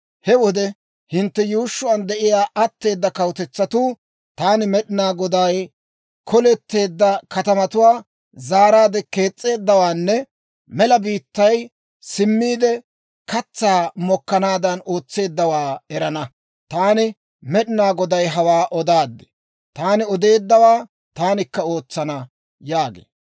He wode hintte yuushshuwaan de'iyaa atteeda kawutetsatuu, taani Med'inaa Goday koleteedda katamatuwaa zaaraadde kees's'eeddawaanne mela biittay simmiide katsaa mokkanaadan ootseeddawaa erana. Taani Med'inaa Goday hawaa odaad; taani odeeddawaa taanikka ootsana» yaagee.